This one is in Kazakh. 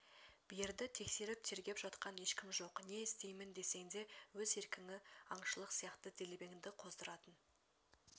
берді тексеріп тергеп жатқан ешкім жоқ не істеймін десең де өз еркіңі аңшылық сияқты делебеңді қоздыратын